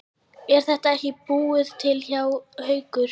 Er þetta ekki bara búið til hjá Haukum?